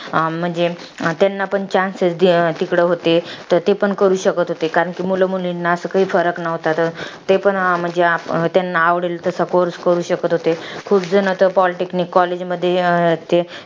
म्हणजे त्यांना पण chances तिकडे होते. तर ते पण तिकडे करू शकत होते. कारण कि मुलामुलींना असं काही फरक नव्हता. ते पण म्हणजे, त्यांना आवडेल तसा course करू शकत होते. खूप जण तर pol technique collage मध्ये अं ते